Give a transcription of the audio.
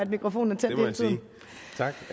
mikrofonen